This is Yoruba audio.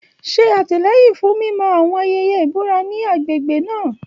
Ṣe àtìlẹ́yìn fún mímọ́ àwọn ayẹyẹ ìbúra ní agbègbè náà.